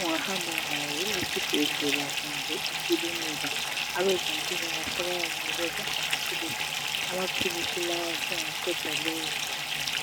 ungahamba laye esibhedlela kumbe ekilinika abezempilakahle bayamnikeza amaphilisi angaqeda lobo buhlungu